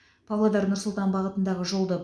павлодар нұр сұлтан бағытындағы жолды